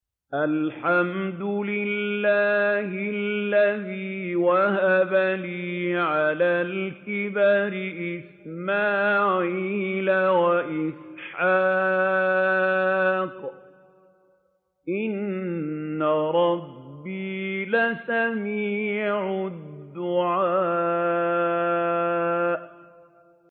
الْحَمْدُ لِلَّهِ الَّذِي وَهَبَ لِي عَلَى الْكِبَرِ إِسْمَاعِيلَ وَإِسْحَاقَ ۚ إِنَّ رَبِّي لَسَمِيعُ الدُّعَاءِ